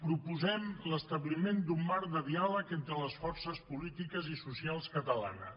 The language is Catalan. proposem l’establiment d’un marc de diàleg entre les forces polítiques i socials catalanes